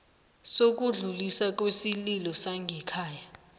sokudluliswa kwesililo sangekhaya